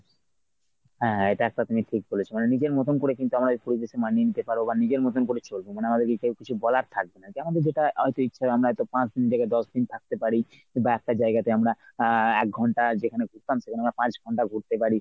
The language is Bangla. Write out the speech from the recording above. হ্যাঁ এটা একটা তুমি ঠিক বলেছো। মানে নিজের মতন করে কিন্তু আমরা এই পরিবেশে মানিয়ে নিতে পারব বা নিজের মতন করে চলব মানে আমাদেরকে কেউ কিছু বলার থাকবে না। যেমন যেটা আহ ইচ্ছা আমরা হয়ত পাঁচদিন থেকে দশদিন থাকতে পারি কিংবা একটা জায়গাতে আমরা আহ একঘন্টা যেখানে ঘুরতাম সেখানে আমরা পাঁচঘন্টা ‍ঘুরতে পারি।